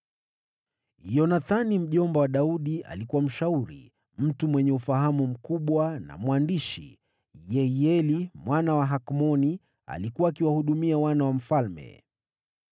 Yonathani mjomba wa Daudi alikuwa mshauri, mtu mwenye ufahamu mkubwa na mwandishi. Yehieli mwana wa Hakmoni alikuwa akiwahudumia wana wa mfalme.